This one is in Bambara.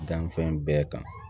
Danni fɛn bɛɛ kan